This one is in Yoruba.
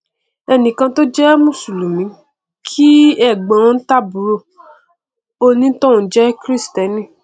ẹnìkan tó jẹ mùsùlùmí kí ẹgbọn tàbí àbúrò onítọhún jẹ kìrìstẹnì